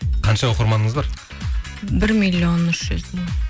қанша оқырманыңыз бар бір миллион үш жүз мың